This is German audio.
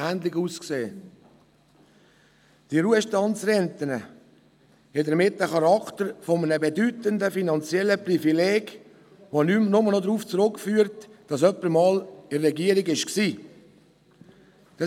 Die Ruhestandsrenten haben damit den Charakter eines bedeutenden finanziellen Privilegs, welches nur noch darauf zurückzuführen ist, dass jemand der Regierung einmal angehört hat.